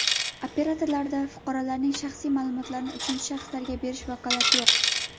Operatorlarda fuqaroning shaxsiy ma’lumotlarini uchinchi shaxslarga berish vakolati yo‘q.